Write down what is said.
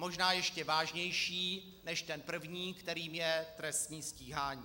Možná ještě vážnější než ten první, kterým je trestní stíhání.